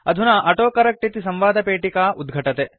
अधुना ऑटोकरेक्ट इति संवादपेटिका उद्घटते